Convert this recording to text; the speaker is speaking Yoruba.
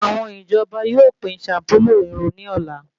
Àwọn ìjọba yóò pín shampulu irun ní ọ̀la